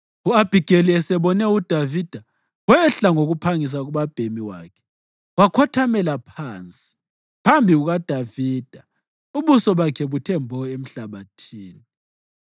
U-Abhigeli esebone uDavida, wehla ngokuphangisa kubabhemi wakhe wakhothamela phansi phambi kukaDavida ubuso bakhe buthe mbo emhlabathini.